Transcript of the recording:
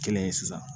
Kelen ye sisan